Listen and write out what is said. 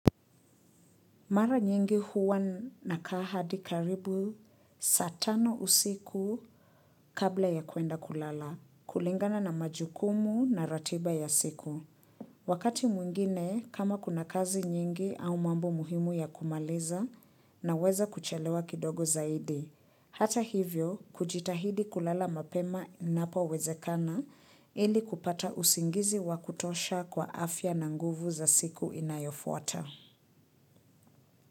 Mara nyingi huwa nakaa hadi karibu saa tano usiku kabla ya kuenda kulala, kulingana na majukumu na ratiba ya siku. Wakati mwingine, kama kuna kazi nyingi au mambo muhimu ya kumaliza naweza kuchelewa kidogo zaidi. Hata hivyo, kujitahidi kulala mapema inapowezekana ili kupata usingizi wa kutosha kwa afya na nguvu za siku inayofuata.